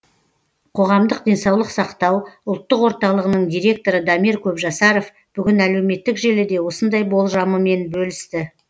қоғамдық денсаулық сақтау ұлттық орталығының директоры дамир көпжасаров бүгін әлеуметтік желіде осындай болжамымен бөлісті